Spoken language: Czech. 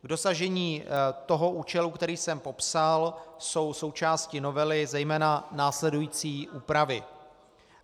K dosažení toho účelu, který jsem popsal, jsou součástí novely zejména následující úpravy.